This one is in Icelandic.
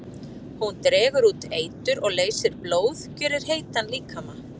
Hún dregur út eitur og leysir blóð, gjörir heitan líkama.